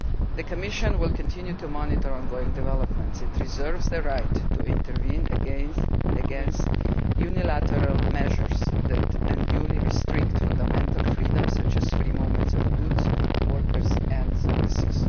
The Commission will continue to monitor ongoing developments. It reserves the right to intervene against unilateral measures that unduly restrict fundamental freedoms such as the free movement of goods, workers and services.